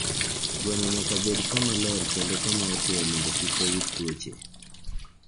Gweno nyaka bed kama ler kendo kama otwo mondo kik oyud tuoche.